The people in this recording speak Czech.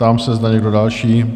Ptám se, zda někdo další?